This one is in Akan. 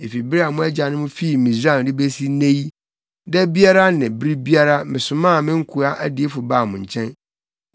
Efi bere a mo agyanom fii Misraim de besi nnɛ yi, da biara ne bere biara mesomaa me nkoa adiyifo baa mo nkyɛn.